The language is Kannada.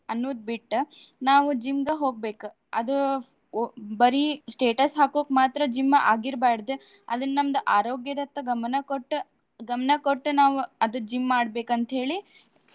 ಅನ್ನುದ್ ಬಿಟ್ಟ್ ನಾವು gym ಗ ಹೋಗ್ಬೇಕ್. ಅದು ಒ~ ಬರಿ status ಹಾಕೋಕ್ ಮಾತ್ರ gym ಆಗಿರ್ಬಾದ್. ಅದನ್ನ ನಮ್ದ ಆರೋಗ್ಯದತ್ತ ಗಮನಕೊಟ್ಟು ಗಮನಕೊಟ್ಟು ನಾವು ಅದು gym ಮಾಡ್ಬೇಕ್ ಅಂತ ಹೇಳಿ.